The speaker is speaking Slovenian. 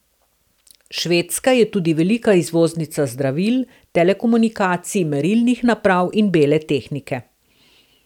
Švedska je tudi velika izvoznica zdravil, telekomunikacij, merilnih naprav in bele tehnike.